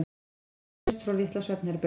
Hrotur heyrðust frá litla svefnherberginu.